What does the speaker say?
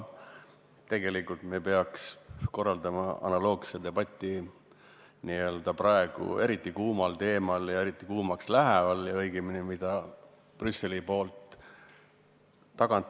Tegelikult me peaks korraldama analoogse debati eriti kuumal teemal, mida Brüsselis praegu aina rohkem üles köetakse.